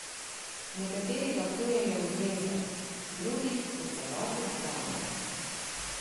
Nekateri ga kujejo v zvezde, drugi v celoti odklanjajo.